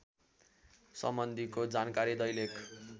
सम्बन्धीको जानकारी दैलेख